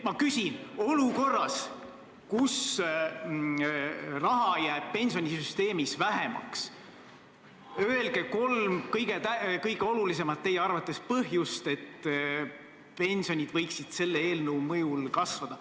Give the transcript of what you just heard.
Ma küsin: öelge kolm enda arvates kõige olulisemat põhjust, kuidas olukorras, kus raha jääb pensionisüsteemis vähemaks, saavad pensionid selle eelnõu mõjul kasvada.